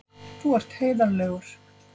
Þú ert heiðarlegur.